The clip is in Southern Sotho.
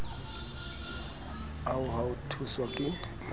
ao a ho tshoswa ka